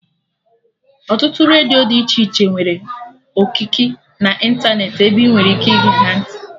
Ọtụtụ redio dị iche iche nwere okiki na ịntanetị ebe ị nwere ike ige ha ntị